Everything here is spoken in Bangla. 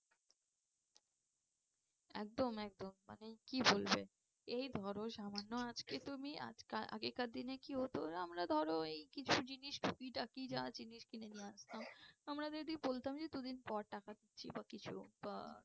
একদম একদম মানে কি বলবে এই ধরো সামান্য আজকে তুমি আগেকার দিনে কি হতো আমরা ধরো এই কিছু জিনিস জিনিস কিনে নিয়ে আসতাম আমরা যদি বলতাম যে দুদিন পর টাকা দিচ্ছি বা কিছু বা